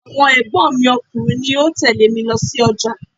Ọmọ ẹ̀gbọ́n mi ọkùnrin ni ó tẹle mi lọ sójà.